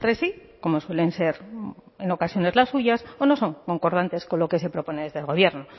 sí como suelen ser en ocasiones las suyas o no son concordantes con lo que se propone desde el gobierno